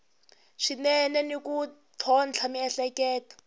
swinene ni ku tlhontlha miehleketo